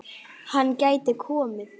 Hann gæti komið